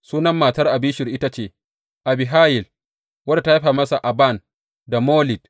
Sunan matar Abishur ita ce Abihayil, wadda ta haifa masa Aban da Molid.